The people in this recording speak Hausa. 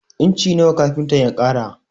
Inci nawa kafintan ya ƙara?